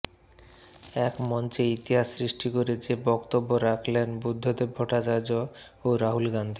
একমঞ্চে ইতিহাস সৃষ্টি করে যে বক্তব্য রাখলেন বুদ্ধদেব ভট্টাচার্য ও রাহুল গান্ধী